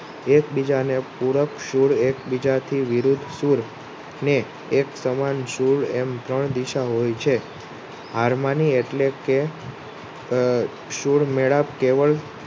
એકબીજા ને પૂરક સૂળ એકબીજાથી વિરુદ્ધ સુર ને એકસમાન સુલ એમ ત્રણ દિશા હોય છે. હારમણિ એટલે કે સુલમેલાપ કેવળ